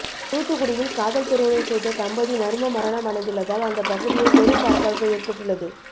தூத்துக்குடியில் காதல் திருமணம் செய்த தம்பதி மர்ம மரணம் அடைந்துள்ளதால் அந்த பகுதியில் பெரும் பரபரப்பு ஏற்பட்டுள்ளது